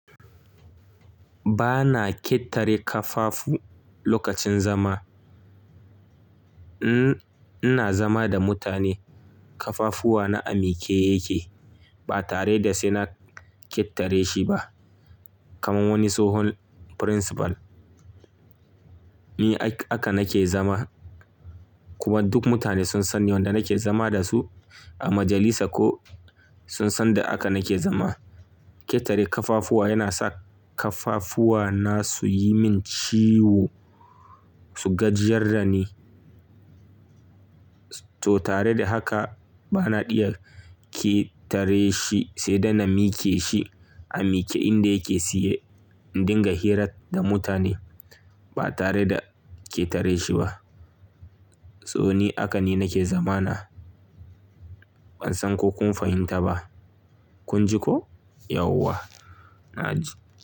Ba na ƙetare kafafu lokacin zama. Ina zama da mutane, kafafuwa na a miki yake ba tare da sai na ƙetare shi ba. Kaman wani tsohon principal. Ni haka nake zama kuma duk mutane sun san yanda nake zama da su a majalisa ko sun san da haka nake zama. Ƙetare kafafuwa yana sa kafafuwa na su yi min ciwo, su gajiyar da ni. To tare da haka ba na iya ƙetare shi sai da na mike shi a miki inda yake siye in dinga hira da mutane ba tare da ƙetare shi ba. To ni haka ne nake zama na. Ban san ko kun fahimta ba. Kun ji ko? Yauwa. Na ji.